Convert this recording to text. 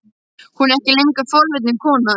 Hún er ekki lengur forvitin kona.